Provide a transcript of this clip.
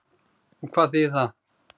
Og hvað þýðir það?